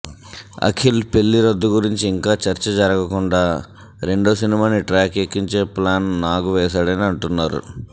అఖిల్ పెళ్లి రద్దు గురించి ఇంకా చర్చ జరగకుండా రెండో సినిమాని ట్రాక్ ఎక్కించే ప్లాన్ నాగ్ వేశాడని అంటున్నారు